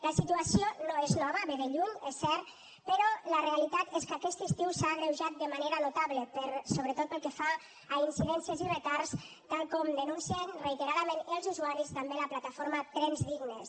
la situació no és nova ve de lluny és cert però la realitat és que aquest estiu s’ha agreujat de manera notable sobretot pel que fa a incidències i retards tal com denuncien reiteradament els usuaris i també la plataforma trens dignes